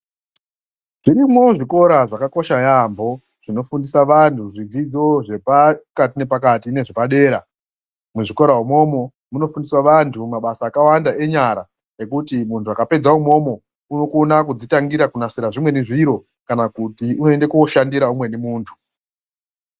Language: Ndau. Zvirimwo zvikokora zvakakosha yambo zvinofundiswa vantu zvidzidzo zvapakati nemakati ne zvepadera muzvikora imomo munofundiswa vantu mabasa akawanda enyara ekuti muntu akapedza imomo unokona kudzitangira kunasira zvimweni zviro kana unokona koshandira umweni muntu